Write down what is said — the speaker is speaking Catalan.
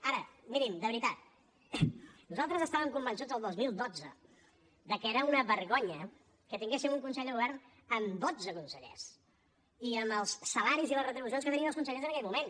ara mirin de veritat nosaltres estàvem convençuts el dos mil dotze de que era una vergonya que tinguéssim un consell de govern amb dotze consellers i amb els salaris i les retribucions que tenien els consellers en aquell moment